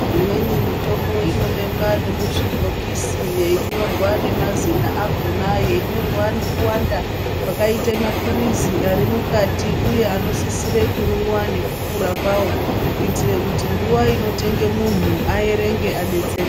Imweni mitombo inobekwa nemuzvibhokisi yeinyorwa nemazina akona yeinyorwa nekuwanda kwakaita mapirizi ari mukati uye anosisire kumwiwa nekukura kwawo kuitire kuti nguva inotenga munhu aerenge adetsereke.